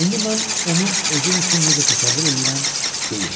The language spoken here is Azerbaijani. İndi mən onu özüm üçün necə təsəvvür eləyirəm, deyim.